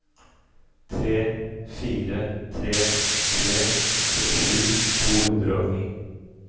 tre fire tre tre syttisju to hundre og ni